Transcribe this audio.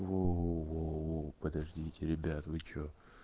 воу-оу-оу-оу подождите ребят вы что